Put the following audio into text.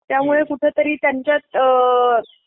त्यामुळे कुठं तरी त्यांच्यात अअअ.